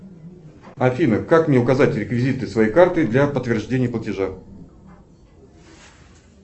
афина как мне указать реквизиты своей карты для подтверждения платежа